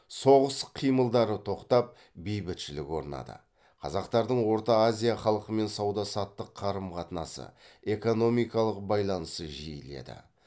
соғыс қимылдары тоқтап бейбітшілік орнады қазақтардың орта азия халқымен сауда саттық қарым қатынасы экономикалық байланысы жиіледі